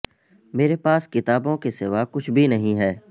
میرے پاس کتا بوں کے سوا کچھ بھی نہیں ہے